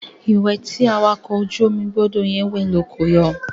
Ìwẹ̀ tí awakọ̀ ojú omi gbọdọ̀ yẹn wẹ̀ ló ko yọ.